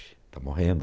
Está morrendo.